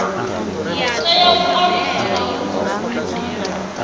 tea u alusa na u